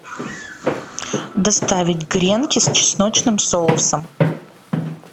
доставить гренки с чесночным соусом